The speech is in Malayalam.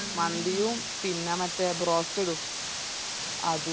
മന്തിയും പിന്ന മറ്റേ broasted ഉം അതും